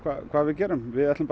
hvað við gerum við ætlum